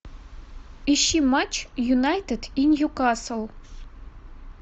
ищи матч юнайтед и ньюкасл